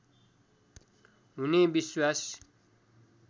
हुने विश्वास